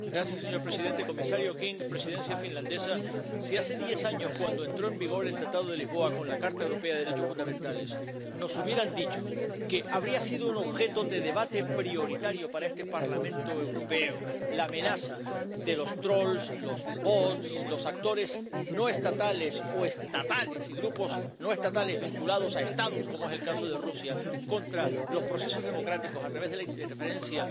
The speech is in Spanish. Señor presidente, comisario King, Presidencia finlandesa, si hace diez años, cuando entró en vigor el Tratado de Lisboa con la Carta de los Derechos Fundamentales de la Unión Europea, nos hubieran dicho que habría sido un objeto de debate prioritario para este Parlamento Europeo la amenaza de los troles, los bots, los actores no estatales o estatales y grupos no estatales vinculados a Estados, como es el caso de Rusia, contra los procesos democráticos a través de la interferencia